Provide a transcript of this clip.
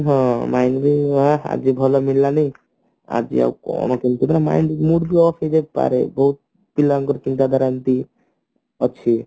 ହଁ ଆଜି ଭଲ ମିଳିଲାନି ଆଜି ଆଉ କଣ କେମିତି mind loss ହେଇଯାଉଛି ତାର ବି ପିଲାଙ୍କର ଚିନ୍ତାଧାରା ଏମତି ଅଛି